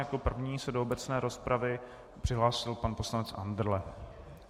Jako první se do obecné rozpravy přihlásil pan poslanec Andrle.